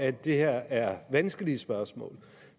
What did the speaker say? at det her er vanskelige spørgsmål